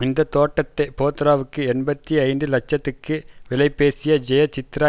இந்த தோட்டத்தை போத்ராவுக்கு எண்பத்தி ஐந்து லட்சத்துக்கு விலைபேசிய ஜெயசித்ரா